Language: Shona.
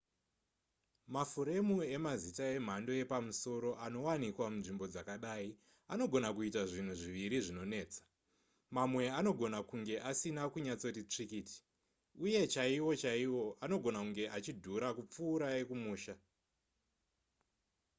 mafuremu emazita emhando yepamusoro anowanikwa munzvimbo dzakadai anogona kuita zvinhu zviviri zvinonetsa mamwe anogona kunge asina kunyatsoti tsvikiti uye chaiwo chaiwo anogona kunge achidhura kupfuura ekumusha